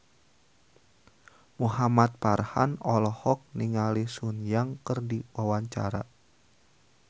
Muhamad Farhan olohok ningali Sun Yang keur diwawancara